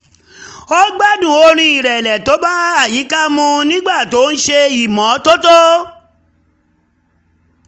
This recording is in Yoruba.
ó gbádùn orin ìrẹ̀lẹ̀ tó bá àyíká mu nígbà tó ń ṣe ìmọ́tótó